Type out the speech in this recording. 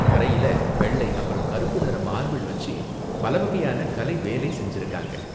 தரையில வெள்ளை அப்பறம் கருப்பு நிற மார்பிள் வச்சு பல வகையான கலை வேலை செஞ்சுருக்காங்க.